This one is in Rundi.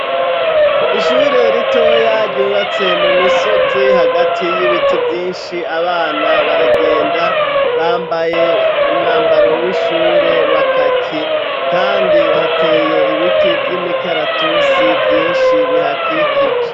Ishure ritoya ryubatse mu misozi hagati y'ibiti vyinshi abana baragenda bambaye umwambaro w'ishure wa kaki, kandi hateye ibiti vy'imikaratusi vyinshi bihakikije.